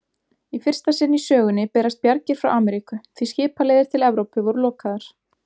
Í fyrsta sinn í sögunni berast bjargir frá Ameríku, því skipaleiðir til Evrópu voru lokaðar.